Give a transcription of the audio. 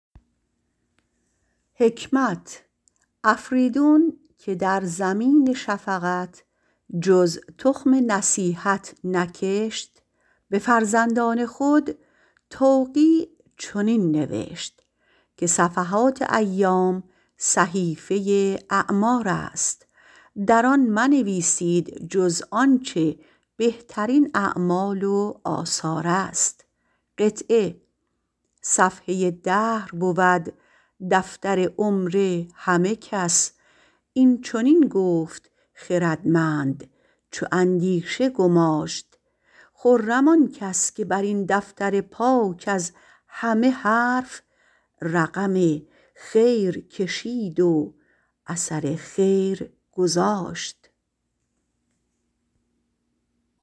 افریدون که در زمین شفقت جز تخم نصیحت نکشت به فرزندان خود این توقیع نوشت که صفحات ایام صفحه اعمار است در آن منویسید جز آنچه بهترین اعمال و آثار است صفحه دهر بود دفتر عمر همه خلق اینچنین گفت خردمند چو اندیشه گماشت خرم آن کس که درین دفتر پاک از همه حرف رقم خیر کشید و اثر خیر گذاشت